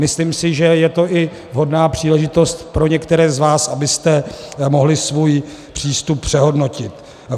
Myslím si, že je to i vhodná příležitost pro některé z vás, abyste mohli svůj přístup přehodnotit.